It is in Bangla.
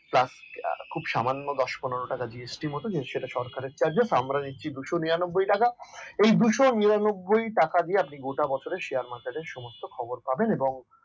খুব সামান্য দশ থেকে পনেরো টাকা GST মত কেমন সেটা সরকারের charges আমরা নিচে দুই শো নিরানব্বই এর টাকা এই দুই শো নিরানব্বইটাকা দিয়ে আপনি গোটা বছরের share market খবর পাবেন এবং